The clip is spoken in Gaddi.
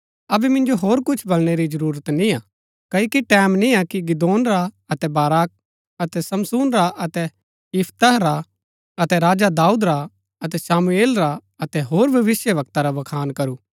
अबै मिन्जो होर कुछ बलणै री जरूरत निय्आ क्ओकि टैमं निय्आ कि गिदोन रा अतै बाराक अतै समसून रा अतै यिफतह रा अतै राजा दाऊद रा अतै शामुएल रा अतै होर भविष्‍यवक्ता रा बखान करूं